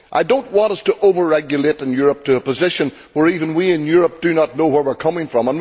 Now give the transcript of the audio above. I do not want us to over regulate in Europe to a position where even we in Europe do not know where we are coming from.